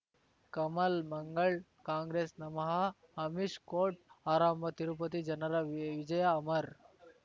ಕಮಲ್ ಮಂಗಳ್ ಕಾಂಗ್ರೆಸ್ ನಮಃ ಅಮಿಷ್ ಕೋರ್ಟ್ ಆರಂಭ ತಿರುಪತಿ ಜನರ ವಿಜಯ ಅಮರ್